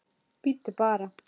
Bíddu bara!